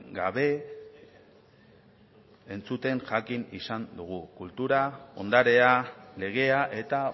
gabe entzuten jakin izan dugu kultura ondarea legea eta